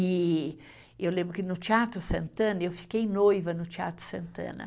E eu lembro que no Teatro Santana, eu fiquei noiva no Teatro Santana.